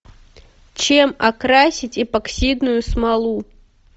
чем окрасить эпоксидную смолу